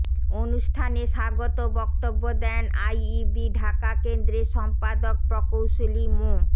অনুষ্ঠানে স্বাগত বক্তব্য দেন আইইবি ঢাকা কেন্দ্রের সম্পাদক প্রকৌশলী মো